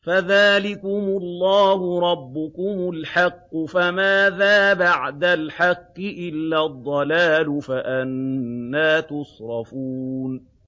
فَذَٰلِكُمُ اللَّهُ رَبُّكُمُ الْحَقُّ ۖ فَمَاذَا بَعْدَ الْحَقِّ إِلَّا الضَّلَالُ ۖ فَأَنَّىٰ تُصْرَفُونَ